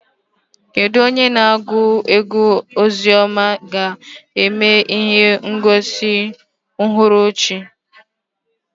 Kedu onye na-agụ egwú ozi ọma ga-eme ihe ngosi n'uhuruchi?